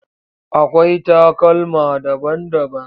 Akwai takalma daban-daban.